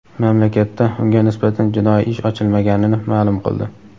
mamlakatda unga nisbatan jinoiy ish ochilmaganini ma’lum qildi.